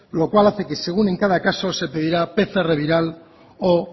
lo cual hace que según en cada caso se pedirá pcr viral o